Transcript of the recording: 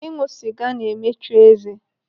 Ịṅụ sịga na-emechu eze.